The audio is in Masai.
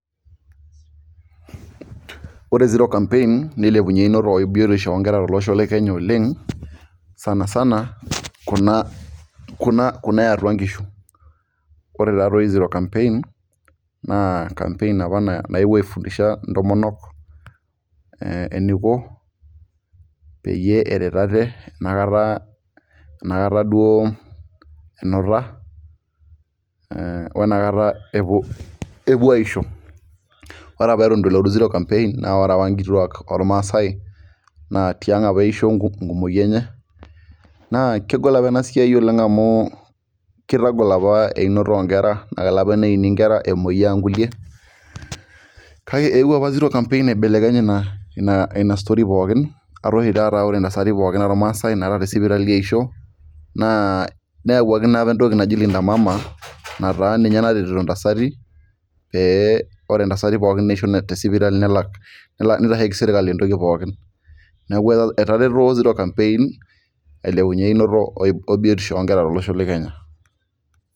Ore zero campaign neilepunye eunoto ebiotisho oonkera tolosho, le kenya oleng sanisana Kuna eyatua nkishu, ore taadoi zero campaign naa campaign apa naelemisha ntomonok, eniko peyie eret ate enkata duo enuta, wenakata epuo aisho Eton eitu nelotu orusa pee eta nkituak ollmaasae natii ang' apa eisho enkumoi enye, naa kegol apa ena siai oleng amu kitagol apa einoto oo nkera, kelo apa neini nkera emoyian kulie, naa eqwuo apa zero campaign aibeleken ina story pookin ata oshi taata ore ntasati pookin ollmaasae naa te sipitali eisho, naa neyawuaki naa apa entoki naji Linda mama nataa ninye naisho ntasati pee ore ntasati pookin naisho te sipitali melaki sirkali entoki pookin neeku etaretuo zero campaign ailepunye einoto o biotisho oo nkera tolosho le Kenya.